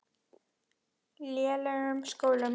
lélegum skólum.